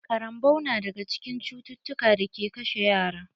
Ƙarambau na daga cikin cututtukan da ke kashe yara.